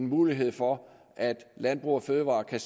mulighed for at landbrug fødevarer kan